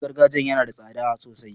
Ganye gargajiya yana da tsada sosai.